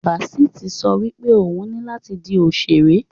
Basit so wipe oun ni lati di òṣèré.